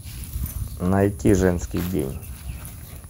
найти женский день